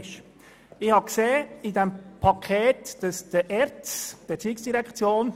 Hier treffe ich mich ausnahmsweise auch mit Kollege Knutti.